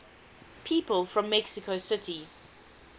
people from mexico city